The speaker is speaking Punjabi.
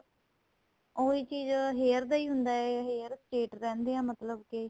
ਉਹੀ ਚੀਜ hair ਦਾ ਹੁੰਦਾ ਏ hair state ਰਹਿੰਦੇ ਦੇ ਮਤਲਬ ਕੀ